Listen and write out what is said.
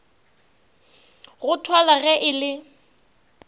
go thwalwa ge e le